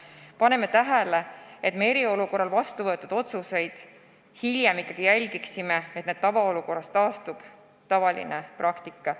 Aga paneme tähele, et me eriolukorra ajal vastu võetud otsuste puhul hiljem jälgiksime, et tavaolukorras taastuks tavaline praktika.